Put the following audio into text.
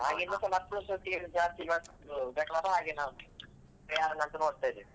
ಹಾಗೆ ಇನ್ನುಸ ಮತ್ತೊಂದ್ ಸರ್ತಿ ಜಾಸ್ತಿ ಯಾರನ್ನು ಅಂತ ನೋಡ್ತಾ ಇದ್ದೇವೆ.